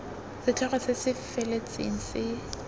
setlhogo se se feletseng se